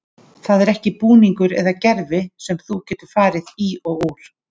Það er ekki búningur eða gervi sem þú getur farið í og úr.